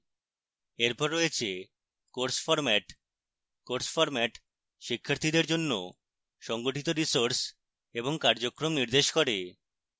এরপর রয়েছে course format course format শিক্ষার্থীদের জন্য সংগঠিত resources এবং কার্যক্রম নির্দেশ করে